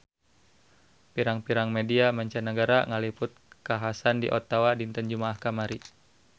Pirang-pirang media mancanagara ngaliput kakhasan di Ottawa dinten Jumaah kamari